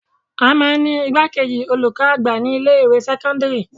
À máa ń ní igbákejì olùkọ́ àgbà ní ilé ìwé sẹ́kọ́ńdírì.